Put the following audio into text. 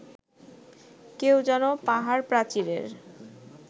কেউ যেন পাহাড়-প্রাচীরের